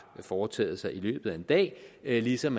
foretaget sig i løbet af en dag ligesom